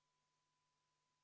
Vaheaeg on läbi.